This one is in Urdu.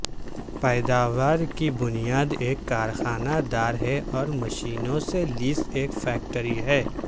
پیداوار کی بنیاد ایک کارخانہ دار ہے اور مشینوں سے لیس ایک فیکٹری ہے